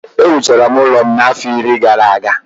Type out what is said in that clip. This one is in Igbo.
Ewuchara m ụlọ m a afọ iri gara aga